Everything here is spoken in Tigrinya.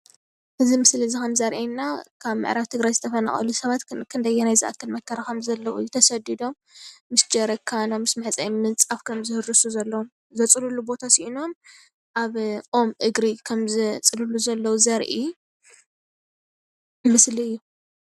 እዚ ምስሊ እዚ ከም ዘርእየና ካብ ምዕራብ ትግራይ ዝተፈናቀሉ ሰባት ክንደየናይ ዝኣከል መከራ ከም ዘለዎ ተሰዲዶም ምስ ጀሪካኖም ምስ መሕፀቢኦም ምንፃፍ ከም ዝህርሱ ዘለዉ ዘፅልሉ ቦታ ስኢኖም ኣብ ኦም እግሪ ከም ዘፅልሉ ዘለዎ ዘረኢ ምስሊ እዩ::